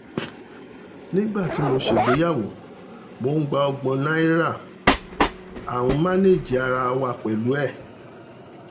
nígbà tí mo ṣègbéyàwó mò ń gba ọgbọ́n náírà à ń mánèèjì ara wa pẹ̀lú ẹ̀